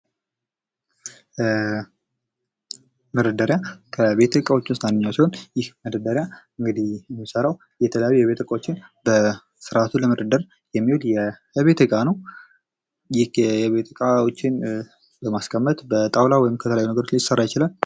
መደርደሪያ ከቤት ዕቃዎች ውስጥ አንደኛው ሲሆን ይህ መደርደሪያ እንግዲህ የሚሰራው የተለያዩ ቤት ዕቃዎችን በስርዓቱ ለመደርደር የሚውል የቤት ዕቃ ነው። ይህ የቤት እቃዎችን ለማስቀመጥ በጣውላ ወይም ከተለያዩ ነገሮች ሊሰራ ይችላል።